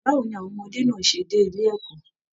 Báwo ní àwọn ọmọdé náà ṣe dé ilé ẹ̀kọ́?